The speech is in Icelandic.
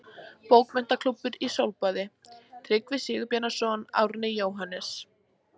Bókmenntaklúbbur í sólbaði: Tryggvi Sigurbjarnarson, Árni, Jóhannes